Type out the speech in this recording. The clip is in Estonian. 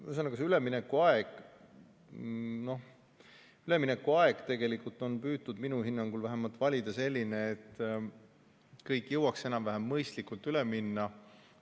Ühesõnaga, see üleminekuaeg on minu hinnangul vähemalt püütud valida selline, et kõik jõuaks enam-vähem mõistlikult üle minna.